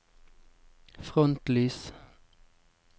frontlys